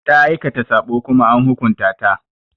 Ta aikata saɓo Kuma an hukunta ta.